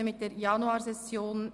Ich beginne mit der Januarsession.